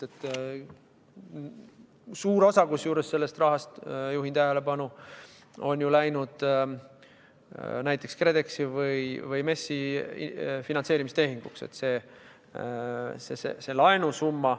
Kusjuures suur osa sellest rahast, juhin tähelepanu, on läinud näiteks KredExi või MES-i finantseerimistehinguteks.